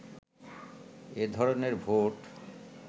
এ ধরনের ভোট